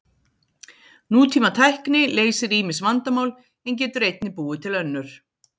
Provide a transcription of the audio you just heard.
Nútímatækni leysir ýmis vandamál en getur einnig búið til önnur.